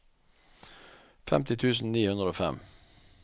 femti tusen ni hundre og fem